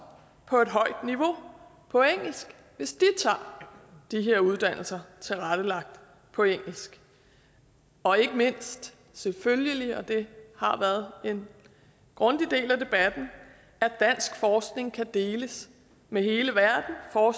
på et højt niveau på engelsk hvis de tager de her uddannelser tilrettelagt på engelsk og ikke mindst selvfølgelig og det har været en grundig del af debatten at dansk forskning kan deles med hele verden for